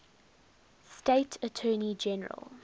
state attorney general